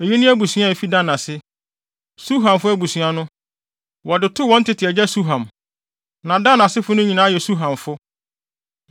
Eyi ne abusua a efi Dan ase. Suhamfo abusua no, wɔde too wɔn tete agya Suham. Na Dan asefo no nyinaa yɛ Suhamfo.